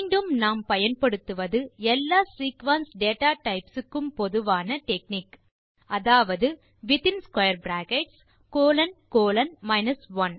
மீண்டும் நாம் பயன்படுத்துவது எல்லா சீக்வென்ஸ் data டைப்ஸ் க்கும் பொதுவான டெக்னிக் அதாவது வித்தின் பிராக்கெட்ஸ் கோலோன் கோலோன் 1